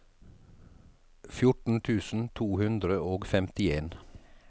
fjorten tusen to hundre og femtien